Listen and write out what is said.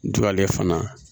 Duwalen fana